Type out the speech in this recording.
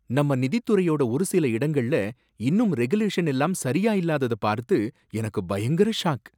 நம்ம நிதித் துறையோட ஒரு சில இடங்கள்ல இன்னும் ரெகுலேஷன் எல்லாம் சரியா இல்லாதத பார்த்து எனக்கு பயங்கர ஷாக்.